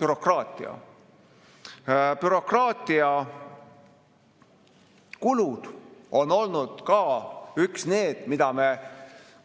Bürokraatiakulud on olnud ka need, mida me